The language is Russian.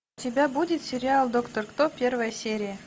у тебя будет сериал доктор кто первая серия